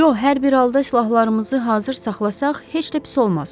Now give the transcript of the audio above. Co, hər bir halda silahlarımızı hazır saxlasaq, heç də pis olmaz.